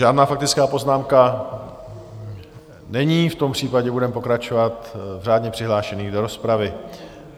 Žádná faktická poznámka není, v tom případě budeme pokračovat v řádně přihlášených do rozpravy.